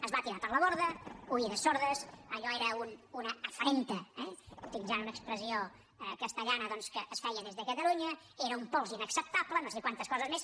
es va tirar per la borda oïdes sordes allò era una afrenta eh utilitzant una expressió castellana doncs que es feia des de catalunya era un pols inacceptable no sé quantes coses més